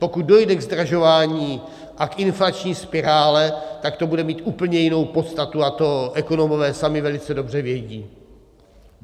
Pokud dojde ke zdražování a k inflační spirále, tak to bude mít úplně jinou podstatu a to ekonomové sami velice dobře vědí.